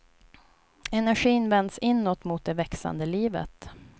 Energin vänds inåt mot det växande livet.